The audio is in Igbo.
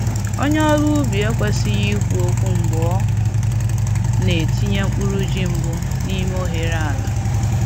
Onye ọrụ ubi ekwesịghị ikwu okwu mgbe ọ na-etinye mkpụrụ ji mbụ n’ime oghere ala.